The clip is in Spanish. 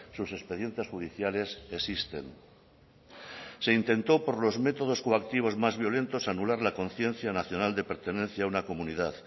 sus expedientes judiciales existen se intentó por los métodos coactivos más violentos anular la conciencia nacional de pertenencia a una comunidad